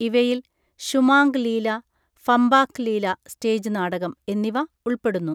ഇവയിൽ ശുമാംഗ് ലീല, ഫമ്പാക് ലീല (സ്റ്റേജ് നാടകം) എന്നിവ ഉൾപ്പെടുന്നു.